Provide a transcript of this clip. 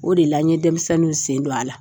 O de la n ye denmisɛnninw sen don a la.